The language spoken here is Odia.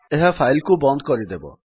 ଏହା ଫାଇଲ୍ କୁ ବନ୍ଦ କରିଦେବ